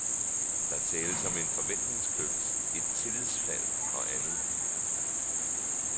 Der tales om en forventningskløft, et tillidsfald og andet.